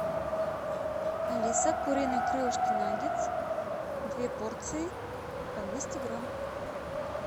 алиса куриные крылышки наггетс две порции по двести грамм